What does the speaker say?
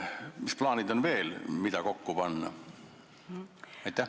Mis plaanid on, mida saab veel kokku panna?